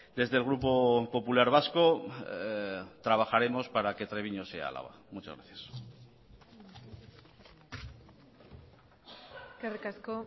desde el grupo popular vasco trabajaremos para que treviño sea álava muchas gracias eskerrik asko